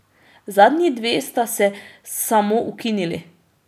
Zadnji dve sta se samoukinili.